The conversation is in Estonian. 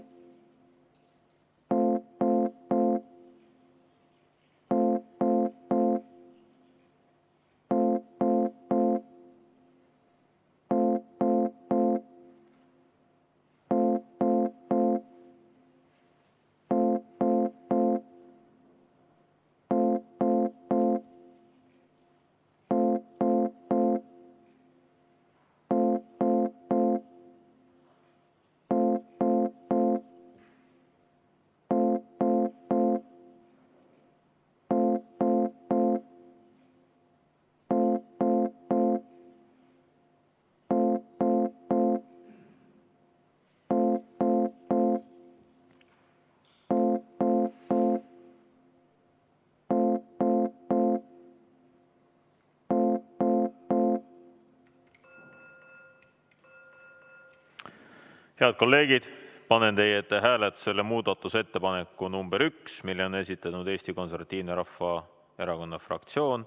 Head kolleegid, panen teie ette hääletusele muudatusettepaneku nr 1, mille on esitanud Eesti Konservatiivse Rahvaerakonna fraktsioon.